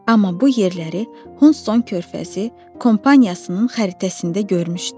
Amma bu yerləri Hantston körfəzi kampaniyasının xəritəsində görmüşdü.